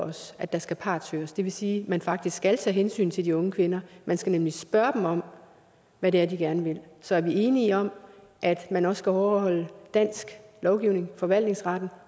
os at der skal partshøres det vil sige at man faktisk skal tage hensyn til de unge kvinder man skal nemlig spørge dem om hvad det er de gerne vil så er vi enige om at man også skal overholde dansk lovgivning forvaltningsretten